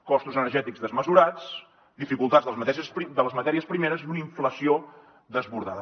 costos energètics desmesurats dificultats de les matèries primeres i una inflació desbordada